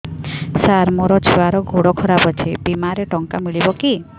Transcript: ସାର ମୋର ଛୁଆର ଗୋଡ ଖରାପ ଅଛି ବିମାରେ ଟଙ୍କା ମିଳିବ କି